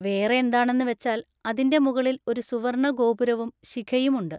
വേറെ എന്താണെന്ന് വെച്ചാൽ, അതിൻ്റെ മുകളിൽ ഒരു സുവർണ ഗോപുരവും ശിഖയും ഉണ്ട്.